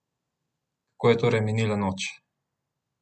Kako je torej minila noč?